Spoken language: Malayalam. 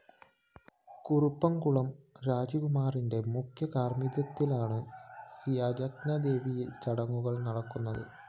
കുറുപ്പംകുളം രജികുമാറിന്റെ മുഖ്യകാര്‍മ്മികത്വത്തിലാണ് യജ്ഞവേദിയിലെ ചടങ്ങുകള്‍ നടക്കുന്നത്